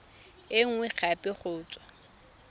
e nngwe gape go tswa